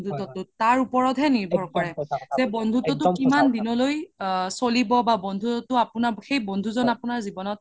তাৰ ওপৰতে হে নিৰভৰ কৰে যে বন্ধুত্বতো কিমান দিনলৈ চ্লিব বা বন্ধুত্বতো আপোনাৰ সেই বন্ধু জন আপোনাৰ জিৱনত